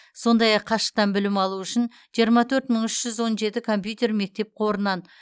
сондай ақ қашықтан білім алу үшін жиырма төрт мың үш жүз он жеті компьютер мектеп қорынан